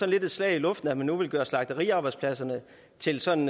lidt et slag i luften at man nu vil gøre slagteriarbejdspladserne til sådan